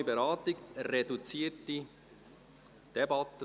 Gemeinsame Beratung, reduzierte Debatte: